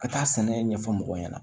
Ka taa sɛnɛ ɲɛfɔ mɔgɔw ɲɛna